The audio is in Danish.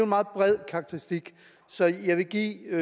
meget bred karakteristik så jeg vil give